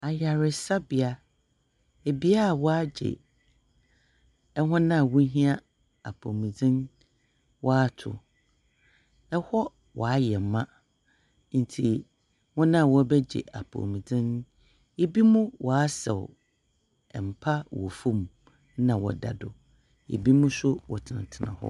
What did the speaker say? Ayarsabea, bea a wɔagye hɔn a wohia apɔwmudzen wɔato. Hɔ wɔayɛ ma, ntsi hɔn a wɔrebɛgye apɔwmudzen no, binom wɔasaw mpa wɔ famu na wɔda do, binom so wɔtsenatsena hɔ.